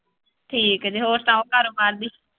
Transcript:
ਠੀਕ ਜੇ ਹੋਰ ਸੁਣਾਓ ਕਾਰੋਬਾਰ ਦੀ।